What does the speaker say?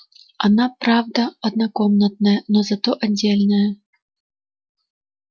она правда однокомнатная но зато отдельная